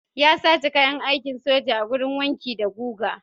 Ya zace kayan aikin soja a wurin wanki da guga.